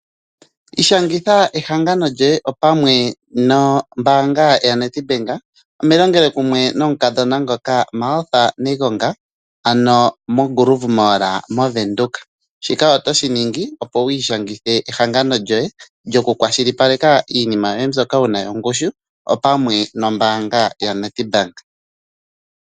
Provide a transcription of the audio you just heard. Shangitha ehangano lyoye, opamwe nombaanga yaNEDBANK onelongelokumwe nomukadhona ngoka Martha Negonga, ano moGrove Mall moVenduka. Shika oto shi ningi opo wi ishangithe ehangano lyoye, lyoku kwashilipaleka iinima mbyoka wuna yongushu opamwe nombaanga yaNEDBANK.